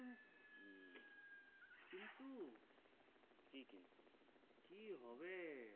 কি হবে